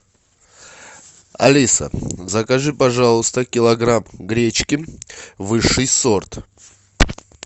алиса закажи пожалуйста килограмм гречки высший сорт